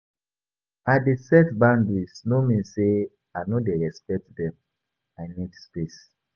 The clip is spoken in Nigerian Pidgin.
I dey set boundaries no mean sey I no dey respect dem, I need space.